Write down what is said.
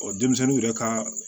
denmisɛnninw yɛrɛ ka